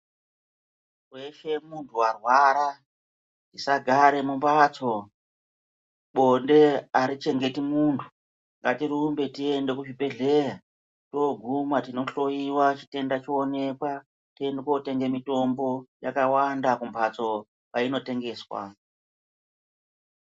Weshe muntu warwara, tisagare mumbatso. Bonde arichengeti muntu, ngatirumbe tiende kuzvibhedhleya. Toguma tinohloyiwa chitenda choonekwa, toende kotenge mitombo. Yakawanda kumhatso kwainotengeswa.